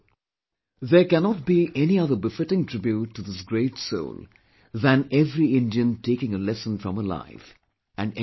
There cannot be any other befitting tribute to this great soul than every Indian taking a lesson from her life and emulating her